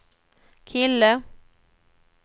kille